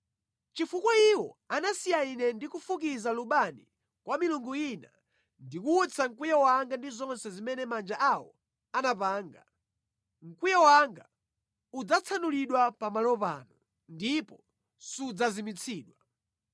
Chifukwa iwo anasiya Ine ndi kufukiza lubani kwa milungu ina ndi kuwutsa mkwiyo wanga ndi zonse zimene manja awo anapanga, mkwiyo wanga udzatsanulidwa pamalo pano ndipo sudzazimitsidwa.’